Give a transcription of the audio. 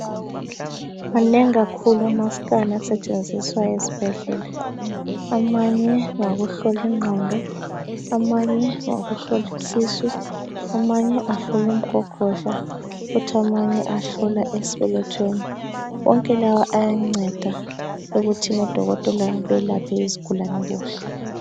Manengi kakhulu amasikani asetshenziswa ezibhedlela. Amanye ngawokuhlola ingqondo, amanye ngawokuhlola isisu, amanye ahlola umgogodla futhi amanye ahlola esibelethweni wonke lawa ayanceda ukuthi udokotela belapha izigulane kuhle.